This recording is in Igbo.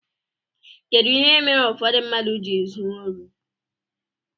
Kedu ihe mere ụfọdụ mmadụ ji ezu órí?